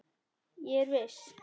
Ég er viss.